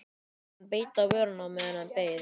Hann beit á vörina á meðan hann beið.